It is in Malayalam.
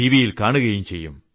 വിയിൽ കാണുകയും ചെയ്യും